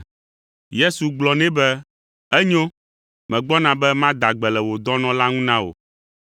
Yesu gblɔ nɛ be, “Enyo, megbɔna be mada gbe le wò dɔnɔ la ŋu na wò.”